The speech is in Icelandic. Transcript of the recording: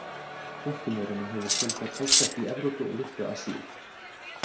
Flökkumaurunum hefur fjölgað talsvert í Evrópu og litlu Asíu.